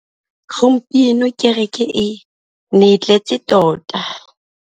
Gompieno kêrêkê e ne e tletse tota.